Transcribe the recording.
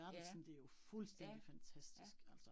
Ja. Ja, ja